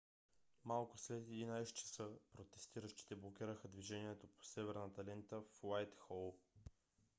малко след 11:00 часа протестиращите блокираха движението по северната лента в уайтхол